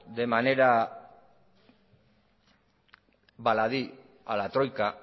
de manera baladí a la troika